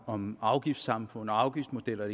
om afgiftssamfund afgiftsmodeller og